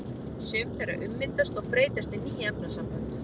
Sum þeirra ummyndast og breytast í ný efnasambönd.